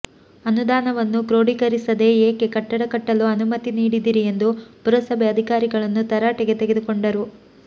ಅನುದಾನವನ್ನು ಕ್ರೋಢೀಕರಿಸದೇ ಏಕೆ ಕಟ್ಟಡ ಕಟ್ಟಲು ಅನುಮತಿ ನೀಡಿದಿರಿ ಎಂದು ಪುರಸಭೆ ಅಧಿಕಾರಿಗಳನ್ನು ತರಾಟೆಗೆ ತೆಗೆದುಕೊಂಡರು